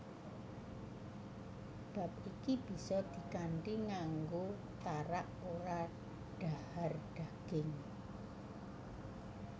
Bab iki bisa dikanthi nganggo tarak ora dhahar daging